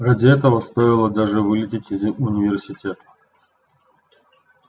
ради этого стоило даже вылететь из университета